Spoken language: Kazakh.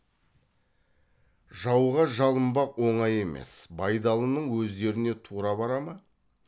жауға жалынбақ оңай емес байдалының өздеріне тура бара ма